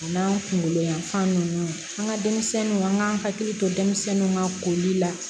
A n'an kunkolo yanfan ninnu an ka denmisɛnninw an k'an hakili to denmisɛnninw ka koli la